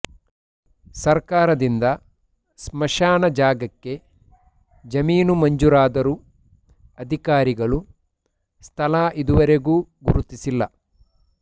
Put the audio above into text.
ಸರ್ಕಾರದಿಂದ ಸ್ಮಶಾನ ಜಾಗಕ್ಕೆ ಜಮೀನು ಮಂಜೂರಾದರು ಅಧಿಕಾರಿಗಳು ಸ್ಥಳ ಇದುವರೆಗೂ ಗುರುತಿಸಿಲ್ಲ